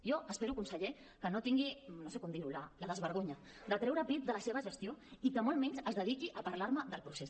jo espero conseller que no tingui no sé com dir ho el desvergonyiment de treure pit de la seva gestió i que molt menys es dediqui a parlar me del procés